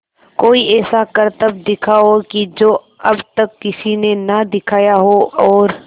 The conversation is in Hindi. कोई ऐसा करतब दिखाओ कि जो अब तक किसी ने ना दिखाया हो और